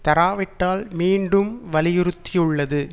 தராவிட்டால் மீண்டும் வலியுறுத்தியுள்ளது